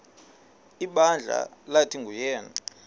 ibandla lathi nguyena